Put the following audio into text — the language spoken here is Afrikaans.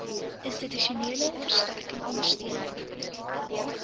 institusionele versterking ondersteuning